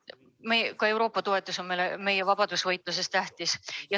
Ka Euroopa toetus on meile meie vabadusvõitluses tähtis.